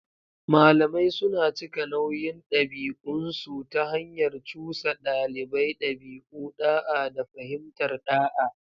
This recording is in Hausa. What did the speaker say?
Malamai suna cika nauyin ɗabi'unsu ta hanyar cusa ɗalibai ɗabi'u, da'a, da fahimtar ɗa'a.